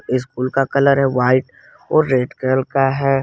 School का colour है white और रेड कलर का है।